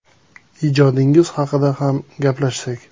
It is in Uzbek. Ijodingiz haqida ham gaplashsak.